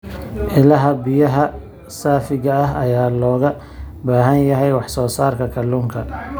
Ilaha biyaha saafiga ah ayaa looga baahan yahay wax soo saarka kalluunka.